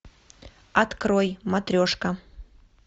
открой матрешка